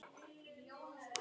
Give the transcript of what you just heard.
Þín Helgi og Helga.